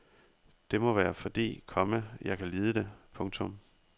Det må være fordi, komma jeg kan lide det. punktum